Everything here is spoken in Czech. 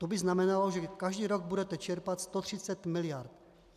To by znamenalo, že každý rok budete čerpat 130 miliard.